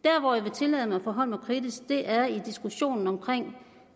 tillade mig at forholde mig kritisk til er diskussionen om